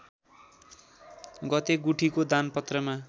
गते गुठीको दानपत्रमा